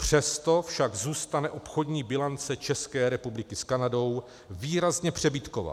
Přesto však zůstane obchodní bilance České republiky s Kanadou výrazně přebytková.